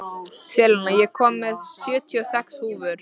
Selina, ég kom með sjötíu og sex húfur!